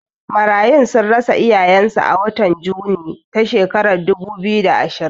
Marayun sun rasa iyayen su a watan Juni ta shekara ta dubu biyu da ashirin